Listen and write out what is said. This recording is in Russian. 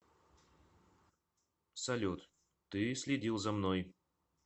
салют ты следил за мной